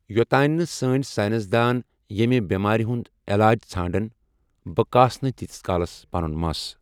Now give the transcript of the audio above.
یوٚتانۍ نہٕ سٲنۍ ساینس دان ییٚمہِ بٮ۪مارِ ہُنٛد علاج ژھانٛڑن، بہٕ کاسہٕ نہٕ تیٖتِس کالس پَنُن مَس۔